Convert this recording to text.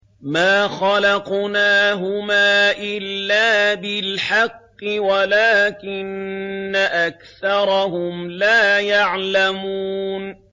مَا خَلَقْنَاهُمَا إِلَّا بِالْحَقِّ وَلَٰكِنَّ أَكْثَرَهُمْ لَا يَعْلَمُونَ